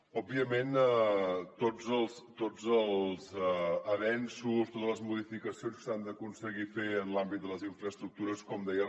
òbviament tots els avenços totes les modificacions s’han d’aconseguir fer en l’àmbit de les infraestructures com deia